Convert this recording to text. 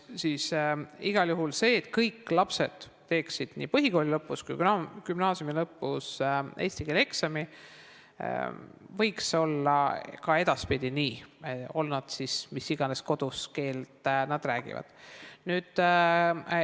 Igal juhul see, et kõik lapsed teeksid nii põhikooli lõpus kui ka gümnaasiumi lõpus eesti keele eksami, võiks olla ka edaspidi nii, mis iganes kodust keelt nad siis räägivad.